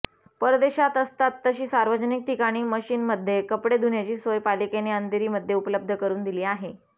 परदेशात असतात तशी सार्वजनिक ठिकाणी मशीनमध्ये कपडे धुण्याची सोय पालिकेने अंधेरीमध्ये उपलब्ध करून दिली आहे